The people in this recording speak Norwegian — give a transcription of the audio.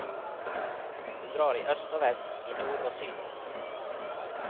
Hun drar i øst og vest, i nord og syd.